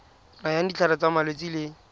nayang ditlhare tsa malwetse le